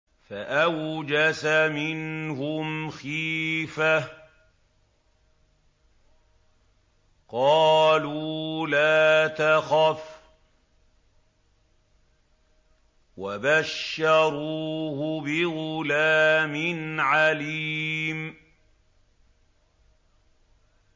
فَأَوْجَسَ مِنْهُمْ خِيفَةً ۖ قَالُوا لَا تَخَفْ ۖ وَبَشَّرُوهُ بِغُلَامٍ عَلِيمٍ